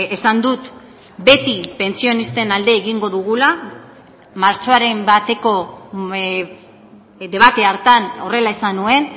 esan dut beti pentsionisten alde egingo dugula martxoaren bateko debate hartan horrela esan nuen